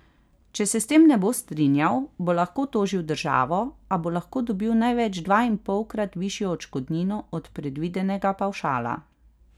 Če se s tem ne bo strinjal, bo lahko tožil državo, a bo lahko dobil največ dvainpolkrat višjo odškodnino od predvidenega pavšala.